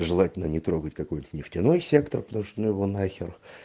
желательно не трогать какой-то нефтяной сектор потому что ну его нахер